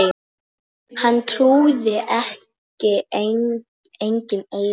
Hann trúði ekki eigin eyrum.